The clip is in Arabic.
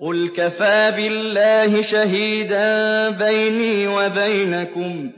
قُلْ كَفَىٰ بِاللَّهِ شَهِيدًا بَيْنِي وَبَيْنَكُمْ ۚ